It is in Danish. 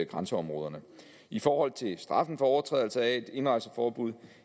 grænseområderne i forhold til straffen for overtrædelse af et indrejseforbud